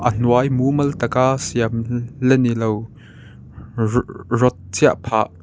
a hnuai mumal tak a siam la nilo roo rod chiah phah --